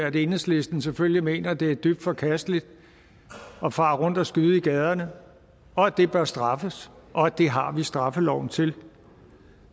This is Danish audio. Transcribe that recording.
at enhedslisten selvfølgelig mener at det er dybt forkasteligt at fare rundt og skyde i gaderne og at det bør straffes og det har vi straffeloven til